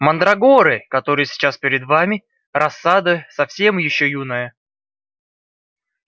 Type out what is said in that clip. мандрагоры которые сейчас перед вами рассада совсем ещё юная